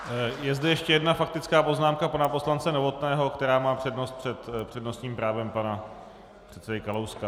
Je zde ještě jedna faktická poznámka pana poslance Novotného, která má přednost před přednostním právem pana předsedy Kalouska.